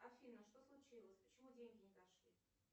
афина что случилось почему деньги не дошли